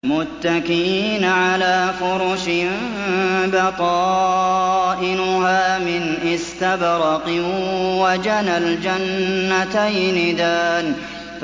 مُتَّكِئِينَ عَلَىٰ فُرُشٍ بَطَائِنُهَا مِنْ إِسْتَبْرَقٍ ۚ وَجَنَى الْجَنَّتَيْنِ دَانٍ